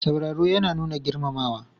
Sauraro yana nuna girmamawa.